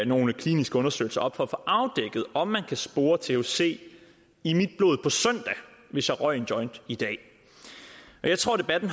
nogle kliniske undersøgelser op for at få afdækket om man ville kunne spore thc i mit blod på søndag hvis jeg røg en joint i dag jeg tror debatten